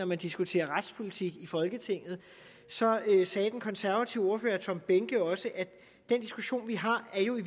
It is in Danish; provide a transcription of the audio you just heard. man diskuterer retspolitik i folketinget så sagde den konservative ordfører herre tom behnke også at den diskussion vi har jo i